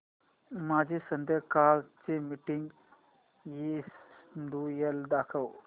माझे संध्याकाळ चे मीटिंग श्येड्यूल दाखव